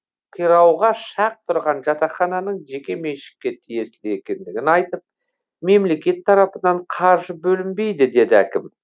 қирауға шақ тұрған жатақхананың жеке меншікке тиесілі екендігін айтып мемлекет тарапынан қаржы бөлінбейді деді әкім